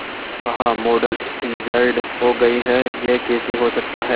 क्या कहा model injured हो गई है यह कैसे हो सकता है